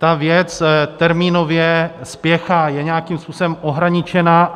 Ta věc termínově spěchá, je nějakým způsobem ohraničena.